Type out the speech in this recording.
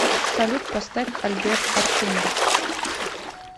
салют поставь альберт артемьев